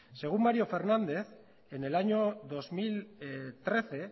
según mario fernández en el año dos mil trece